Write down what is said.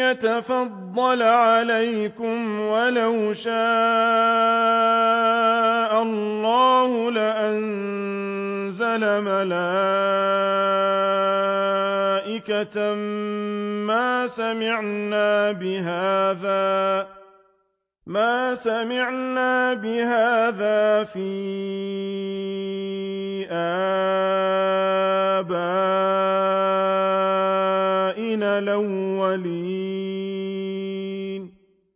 يَتَفَضَّلَ عَلَيْكُمْ وَلَوْ شَاءَ اللَّهُ لَأَنزَلَ مَلَائِكَةً مَّا سَمِعْنَا بِهَٰذَا فِي آبَائِنَا الْأَوَّلِينَ